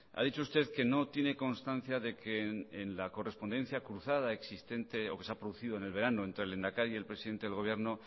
ha dicho usted que no tiene constancia de que en la correspondencia cruzada existente o que se ha producido en el verano entre el lehendakari y el presidente del gobierno